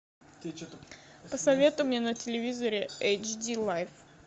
посоветуй мне на телевизоре эйч ди лайв